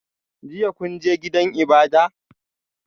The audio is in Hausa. Jiya kun je gidan ibada?